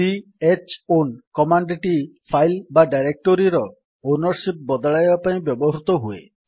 c h own command ଟି file ବା ଡାଇରେକ୍ଟୋରୀର ଓନର୍ ସିପ୍ ବଦଳାଇବା ପାଇଁ ବ୍ୟବହୃତ ହୁଏ